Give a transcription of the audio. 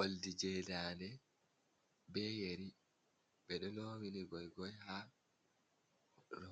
Oldijedane beyeri bedo lowii gogoi ha